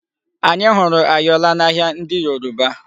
Anyi hụrụ ayọla n'ahịa ndị Yoruba.